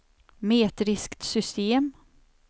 metriskt system